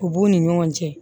U b'u ni ɲɔgɔn cɛ